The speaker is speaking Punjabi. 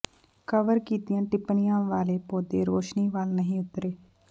ਕਵਰ ਕੀਤੀਆਂ ਟਿਪਣੀਆਂ ਵਾਲੇ ਪੌਦੇ ਰੌਸ਼ਨੀ ਵੱਲ ਨਹੀਂ ਉਤਰੇ